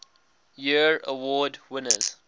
year award winners